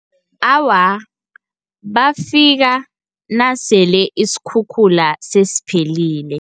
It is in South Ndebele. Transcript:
Awa, bafika nasele isikhukhula sesiphelile.